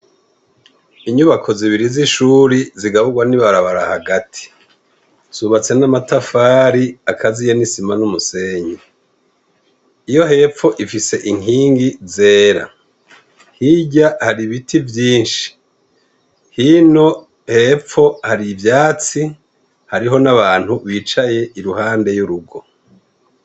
Inyubako zibiriri zishure zigaburwa nibabara hagati zubatse namatafari akaziye nisima numusenyi iyo hepfo ifise inkingi zera hirya hari ibiti vyinshi hino hepfo hari ivyatsi hariho nabantu bicaye iruhande yurugo